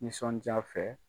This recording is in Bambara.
Nisɔndiya fɛ.